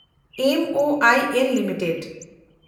MOIL limited